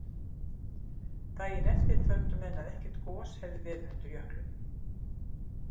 Daginn eftir töldu menn að ekkert gos hefði verið undir jöklinum.